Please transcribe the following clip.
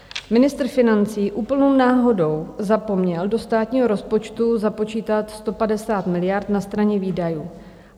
Ministr financí úplnou náhodou zapomněl do státního rozpočtu započítat 150 miliard na straně výdajů.